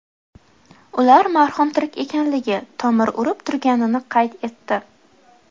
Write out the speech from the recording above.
Ular marhum tirik ekanligi, tomiri urib turganini qayd etdi.